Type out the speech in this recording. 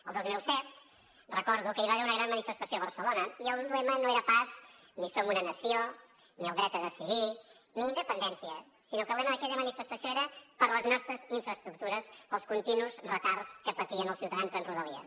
el dos mil set recordo que hi va haver una gran manifestació a barcelona i el lema no era pas ni som una nació ni el dret a decidir ni independència sinó que el lema d’aquella manifestació era per les nostres infraestructures pels continus retards que patien els ciutadans amb rodalies